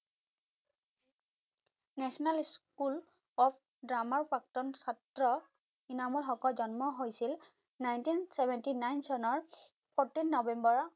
national school of drama প্ৰাক্তন ছাত্ৰ ইনামুল হকৰ জন্ম হৈছিল ninteen seventy nine চনৰ fourteen নৱেম্বৰত